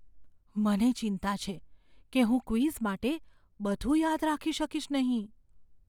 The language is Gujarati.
મને ચિંતા છે કે હું ક્વિઝ માટે બધું યાદ રાખી શકીશ નહીં.